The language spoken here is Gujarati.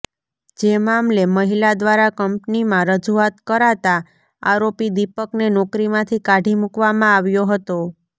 જે મામલે મહિલા દ્વારા કંપનીમાં રજૂઆત કરાતા આરોપી દિપકને નોકરીમાંથી કાઢી મૂકવામાં આવ્યો હતો